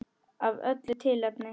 Af öllu tilefni og engu.